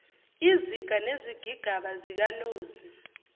iziga nezigigaba zikanozi